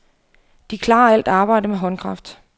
De klarer alt arbejde med håndkraft.